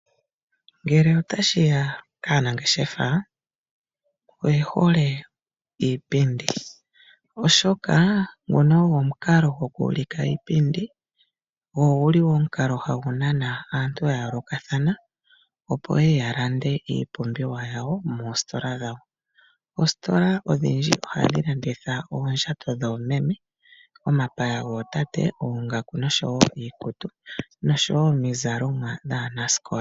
Ngele otashiya kaanangeshefa oyehole iipindi oshoka ngono ogo omukalo goku ulika uupenda go oguli woo omukalo hagu nana aantu ya yoolokathana opo yeye ya lande iipumbiwa yawo moositola dhawo .Oositola odhindji ohadhi landitha oondjato dhoomeme, omapaya gootate ,oongaku nosho iikutu noshowo omizalo dhaanasikola.